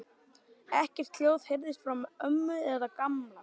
Ekkert hljóð heyrðist frá ömmu eða Gamla.